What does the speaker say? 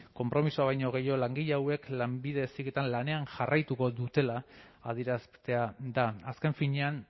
konpromisoa baino gehiago langile hauek lanbide heziketan lanean jarraituko dutela adieraztea da azken finean